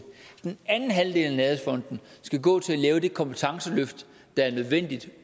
den anden halvdel af nærhedsfonden skal gå til at lave det kompetenceløft der er nødvendigt